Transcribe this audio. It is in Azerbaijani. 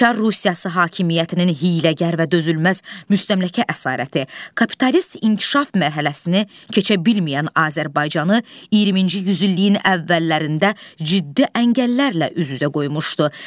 Çar Rusiyası hakimiyyətinin hiyləgər və dözülməz müstəmləkə əsarəti, kapitalist inkişaf mərhələsini keçə bilməyən Azərbaycanı 20-ci yüzilliyin əvvəllərində ciddi əngəllərlə üz-üzə qoymuşdu.